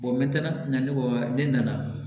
me taa ɲina ne ko ne nana